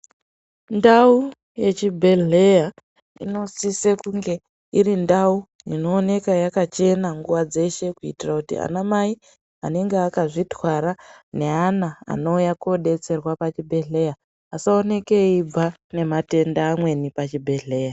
Ndau yechi bhedhlera ino sisa kunge iri ndau ino oneka wakachena nguva dzeshe kuitira kuti ana mai anenge akazvi twara ne ana anouya ko detserwa pa chi bhedhleya asa oneka eyibva nema tenda amweni pa chi bhedhleya.